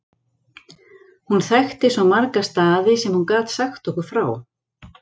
Hún þekkti svo marga staði sem hún gat sagt okkur frá.